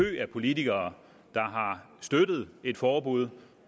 af politikere der har støttet et forbud